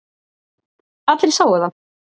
Allir sáu það.